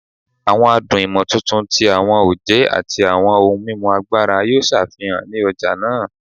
Awọn adun imotuntun ti awọn oje ati awọn ohun mimu agbara yoo ṣafihan ni ọja naa